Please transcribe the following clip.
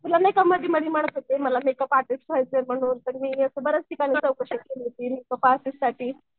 तुला नाही का मधी मधी म्हणत होते मला मेकअप आर्टिस्ट मी असं बऱ्याच ठिकाणी चौकशी केली क्लासेससाठी